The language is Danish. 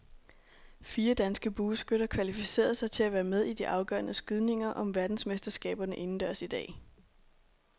Fire danske bueskytter kvalificerede sig til at være med i de afgørende skydninger om verdensmesterskaberne indendørs i dag.